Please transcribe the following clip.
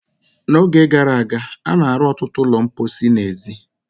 N'oge gara aga, a na-arụ ọtụtụ ụlọ mposi n'èzí.